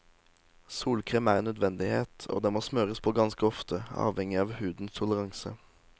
Solkrem er en nødvendighet, og den må smøres på ganske ofte, avhengig av hudens toleranse.